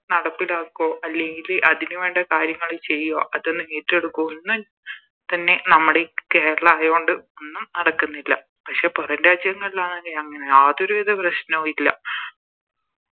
നടപ്പിലാക്കോ അല്ലെങ്കില് അതിനു വേണ്ട കാര്യങ്ങള് ചെയ്യോ അതൊന്ന് ഏറ്റേടുക്കോ ഒന്നും തന്നെ നമ്മടെ ഈ കേരളയാണ്ട് ഒന്നും നടക്കുന്നില്ല പക്ഷെ പൊറം രാജ്യങ്ങളിലാണെങ്കിൽ അങ്ങനെ യാതൊരു വിധ പ്രശ്നോ ഇല്ല